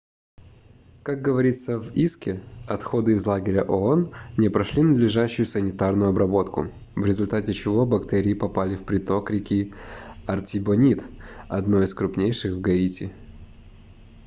как говорится в иске отходы из лагеря оон не прошли надлежащую санитарную обработку в результате чего бактерии попали в приток реки артибонит одной из крупнейших в гаити